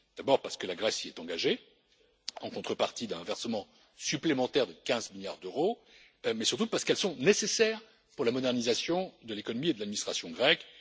D'abord, parce que la Grèce s'y est engagée en contrepartie d'un versement supplémentaire de 15 milliards d'euros, mais surtout parce qu'elles sont nécessaires pour la modernisation de l'économie et de l'administration grecques.